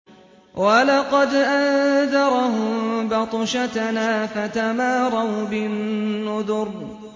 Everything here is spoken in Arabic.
وَلَقَدْ أَنذَرَهُم بَطْشَتَنَا فَتَمَارَوْا بِالنُّذُرِ